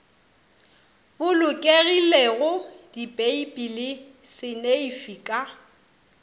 bolokegilego dipeipi le seneifi ka